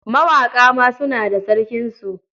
Mawaƙa ma suna da sarkinsu.